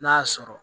N'a y'a sɔrɔ